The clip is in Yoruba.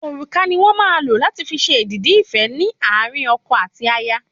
Òrùka ni wón màa n lo lati fi ṣe èdìdì ife ni àárín ọkọ àti aya